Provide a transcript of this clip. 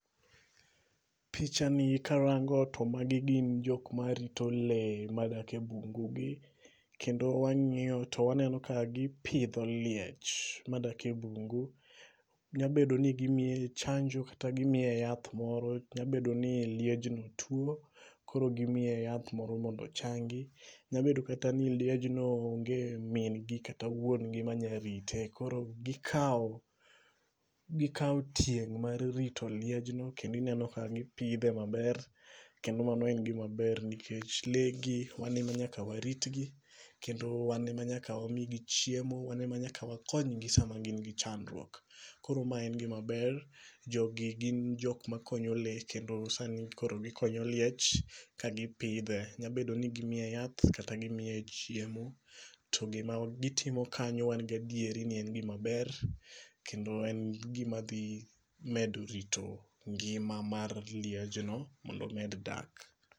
Picha ni karango to magi gin jok marito le madak e bungu gi. Kendo wang'iyo to waneno ka gipidho liech madak e bungu. Nyabedo ni gimiye chanjo kata gimiye yath moro. Nyabedo ni liejno tuo koro gimiye yath moro mondo ochangi. Nyabedo kata ni liejno onge mingi kata wuongi manya rite. Koro gikaw tieng' mar rito liejno. Kendo ineno ka gipidhe maber. Kendo mano en gima ber nikech le gi wan e nyaka warit gi. Kendo wan e ma nyaka wamigi chiemo. Wan e ma nyaka wakony gi seche ma gin gi chandruok. Koro ma e gima ber. Jogi gin jok ma konyo le. Kendo sani koro gikonyo liech ka gipidhe. Nyabedo ni gimiye yath kata gimiye chiemo. To gima gitiomo kanyo wan gadieri ni en gima ber. Kendo en gima dhi medo rito ngima mar liejno mondo omed dak.